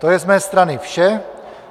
To je z mé strany vše.